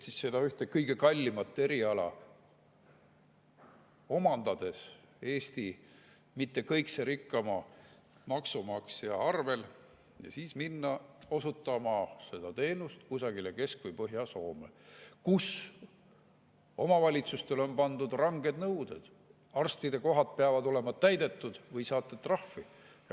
Nad omandavad ühe kõige kallima eriala mitte kõige rikkama Eesti maksumaksja arvel, et siis minna osutama seda teenust kusagile Kesk- või Põhja-Soome, kus omavalitsustele on pandud ranged nõuded: arstide kohad peavad olema täidetud või saate trahvi.